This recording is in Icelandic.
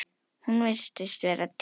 Hún virtist vera týnd